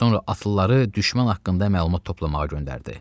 Sonra atlıları düşmən haqqında məlumat toplamağa göndərdi.